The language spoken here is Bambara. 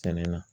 Tɛnɛ na